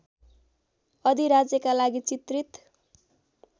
अधिराज्यका लागि चित्रित